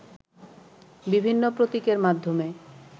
বিভিন্ন প্রতীকের মাধ্যমে